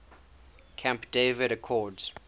camp david accords